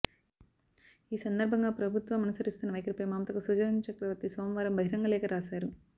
ఈ సందర్భంగా ప్రభుత్వం అనుసరిస్తున్న వైఖరిపై మమతకు సుజన్చక్రవర్తి సోమవారం బహిరంగ లేఖ రాశారు